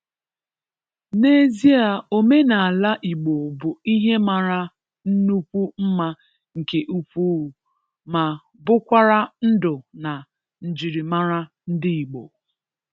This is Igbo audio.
N’ezie omenala Igbo bụ ihe mara nnukwu mma nke ukwuu ma bụkwara ndụ na njirimara ndị Igbo.